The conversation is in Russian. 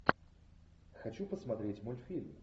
хочу посмотреть мультфильм